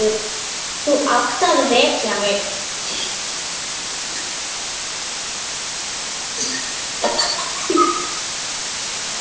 Þú átt að vekja mig.